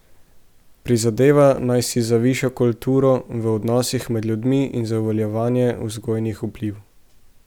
Prizadeva naj si za višjo kulturo v odnosih med ljudmi in za uveljavljanje vzgojnih vplivov.